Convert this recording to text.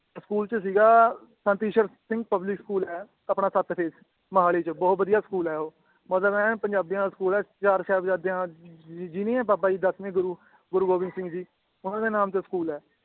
school ਚ ਸੀਗਾ ਸਨਤੀਸ਼ਰ Singh public school ਹੈ ਆਪਣਾ ਸੱਤ ਫੇਸ ਮੋਹਾਲੀ ਚ ਬਹੁਤ ਬਦੀਆ ਸਕੂਲ ਹੈ ਉਹ ਮਤਲਬ ਮੈ ਪੰਜਾਬੀਆਂ ਵਾਲਾ ਸਕੂਲ ਏ ਚਾਰ ਸਾਹਿਬਜਾਦਿਆਂ ਜੀ ਨੀ ਏ ਬਾਬਾ ਜੀ ਦੱਸਵੇਂ ਗੁਰੂ ਗੋਬਿੰਦ ਸਿੰਘ ਜੀ ਉਹਨਾਂ ਦੇ ਨਾਮ ਤੋਂ ਸਕੂਲ ਹੈ